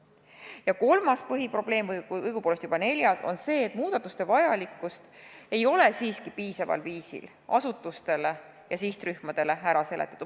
Ja kolmas või õigupoolest juba neljas põhiprobleem on see, et muudatuste vajalikkust ei ole siiski piisaval viisil asutustele ja sihtrühmadele ära seletatud.